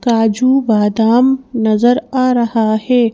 काजू बादाम नजर आ रहा है।